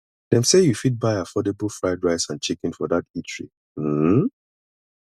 dem sey you fit buy affordable fried rice and chicken for dat eatery um